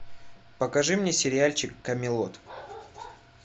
покажи мне сериальчик камелот